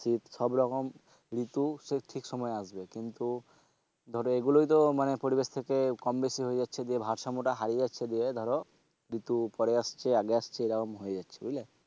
শীত সবরকম ঋতু সব ঠিক সময়ে আসবে কিন্তু ধরো এগুলোই তো মানে পরিবেশ থেকে কম বেশি হয়ে যাচ্ছে দিয়ে ভারসাম্যটা হারিয়ে যাচ্ছে দিয়ে ধরো ঋতু পরে আসছে আগে আসছে এরকম হয়ে যাচ্ছে বুঝলে।